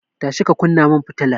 Tashi ki kunna mun fitilar nan!